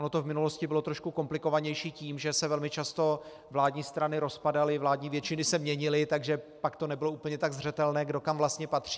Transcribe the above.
Ono to v minulosti bylo trošku komplikovanější tím, že se velmi často vládní strany rozpadaly, vládní většiny se měnily, takže pak to nebylo úplně tak zřetelné, kdo kam vlastně patří.